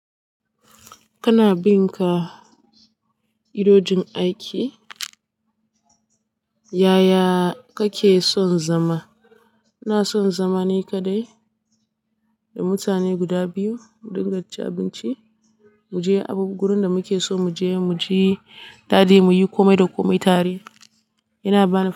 Kana bin ka idojin aiki? Yaya kake son zama? iNa son zama ni kaɗai da mutane guda biyu, mu dinga cin abinci, mu je abu gurin da muke so mu je, mu ji dadi, mu yi kome da kome tare. Yana bani.